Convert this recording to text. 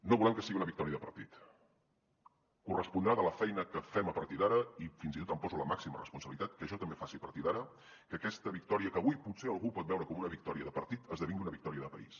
no volem que sigui una victòria de partit correspondrà a la feina que fem a partir d’ara i fins i tot em poso la màxima responsabilitat que jo també faci a partir d’ara que aquesta victòria que avui potser algú pot veure com una victòria de partit esdevingui una victòria de país